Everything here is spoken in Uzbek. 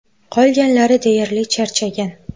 Qolganlari deyarli charchagan.